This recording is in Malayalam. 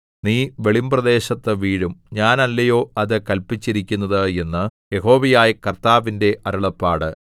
നീ വെളിമ്പ്രദേശത്തു വീഴും ഞാനല്ലയോ അത് കല്പിച്ചിരിക്കുന്നത് എന്ന് യഹോവയായ കർത്താവിന്റെ അരുളപ്പാട്